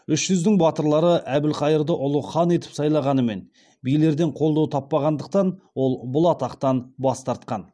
үш жүздің батырлары әбілқайырды ұлы хан етіп сайлағанымен билерден қолдау таппағандықтан ол бұл атақтан бас тартқан